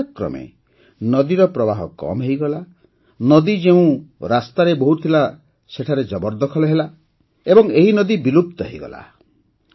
ସମୟକ୍ରମେ ନଦୀର ପ୍ରବାହ କମ୍ ହୋଇଗଲା ନଦୀ ଯେଉଁ ରାସ୍ତାରେ ବହୁଥିଲା ସେଠାରେ ଜବରଦଖଲ ହେଲା ଓ ଏହି ନଦୀ ବିଲୁପ୍ତ ହୋଇଗଲା